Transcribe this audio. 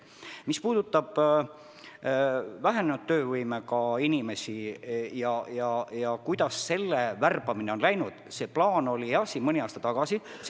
Mis puudutab vähenenud töövõimega inimesi ja seda, kuidas nende värbamine on läinud, siis see plaan oli jah mõni aasta tagasi.